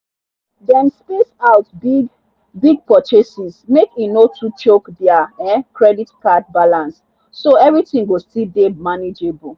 dem space out big-big purchases make e no too choke their um credit card balance—so everything go still dey manageable.